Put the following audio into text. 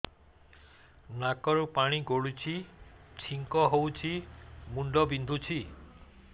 ନାକରୁ ପାଣି ଗଡୁଛି ଛିଙ୍କ ହଉଚି ମୁଣ୍ଡ ବିନ୍ଧୁଛି